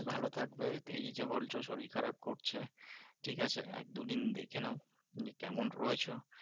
ভালো থাকবে এই যে বলছো শরীর খারাপ করছে, ঠিকাছে? এক দু দিন দেখে নাও, নিয়ে কেমন রয়েছো?